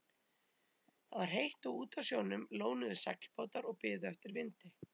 Það var heitt og úti á sjónum lónuðu seglbátar og biðu eftir vindi.